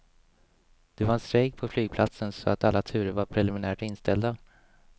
Det var en strejk på flygplatsen så att alla turer var preliminärt inställda.